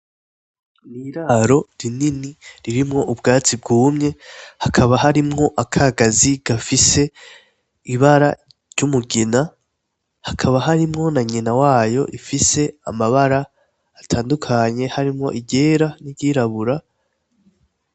Niraro rinini ririmwo ubwatsi bwumye hakaba harimwo akagazi gafise ibara ry'umugina hakaba harimwo na nyina wayo ifise amabara atandukanye harimwo igera n'iryirabura.